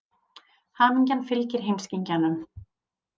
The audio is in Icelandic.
Hamingjan fylgir heimskingjanum.